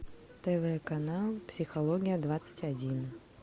тв канал психология двадцать один